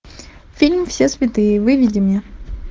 фильм все святые выведи мне